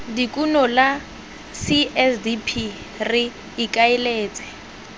dikuno la csdp re ikaeletse